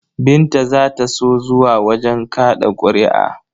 Binta za ta so zuwa wajen kaɗa ƙuri'a.